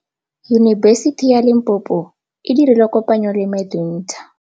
Yunibesiti ya Limpopo e dirile kopanyô le MEDUNSA.